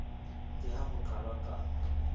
ke ha ho qalwa ka